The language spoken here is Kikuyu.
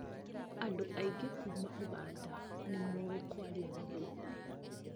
Andũ aingĩ kuma ũganda nĩmoi kwaria gĩthũngũ